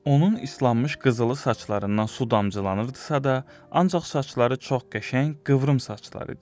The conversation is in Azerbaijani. Onun islanmış qızılı saçlarından su damcılanırdısa da, ancaq saçları çox qəşəng, qıvrım saçlar idi.